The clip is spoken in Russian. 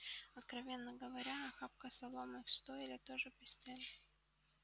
откровенно говоря охапка соломы в стойле тоже постель